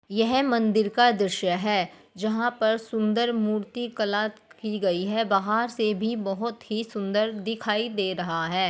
यह मंदिर का दृश्य है जहाँ पर सुंदर मूर्ति कला की गई है बाहर से भी बहुत ही सुंदर दिखाई दे रहा है।